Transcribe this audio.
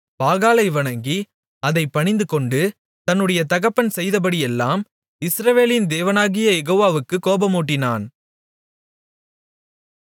பாகாலை வணங்கி அதைப் பணிந்துகொண்டு தன்னுடைய தகப்பன் செய்தபடியெல்லாம் இஸ்ரவேலின் தேவனாகிய யெகோவாவுக்குக் கோபமூட்டினான்